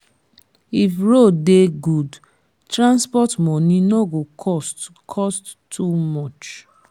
if road dey good transport money no go cost cost too much.